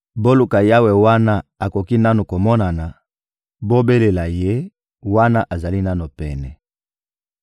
Boluka Yawe wana akoki nanu komonana, bobelela Ye wana azali nanu pene.